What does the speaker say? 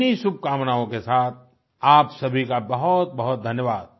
इन्हीं शुभकामनाओं के साथ आप सभी का बहुतबहुत धन्यवाद